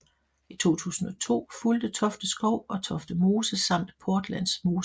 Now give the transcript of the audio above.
I 2002 fulgte Tofte Skov og Tofte Mose samt Portlandmosen